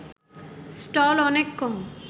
stall অনেক কম